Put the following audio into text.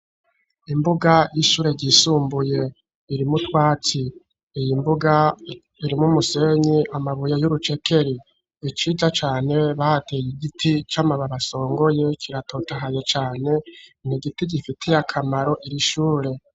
Imbuga y'ishure yisumbuye iri mutwatsi iyi mbuga iri mumusenyi amabuye y'urucekeri. Niciza cane bahateye igiti cy'amababa songoye kiratotahaye cane nigiti gifitiye akamaro iri ishure.